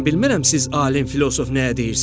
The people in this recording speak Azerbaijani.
mən bilmirəm siz alim, filosof nəyə deyirsiz.